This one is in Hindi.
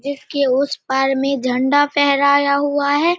जिसके उस पार में झंडा फहराया हुआ हैं।